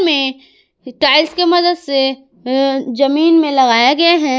में टाइल्स के मदद से अ जमीन मे लगाया गया है।